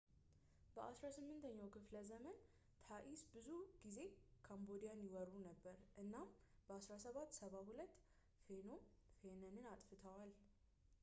በ 18ኛው ክፍለዘመን ታኢስ ብዙ ጊዜ ካምቦዲያን ይወሩ ነበር እና በ 1772 ፌኖም ፌነንን አጥፍተዋል